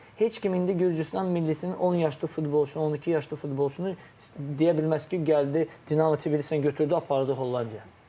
Heç kim indi Gürcüstan millisinin 10 yaşlı futbolçunu, 12 yaşlı futbolçunu deyə bilməz ki, gəldi Dinamo Tbilisidə götürdü, apardı Hollandiyaya.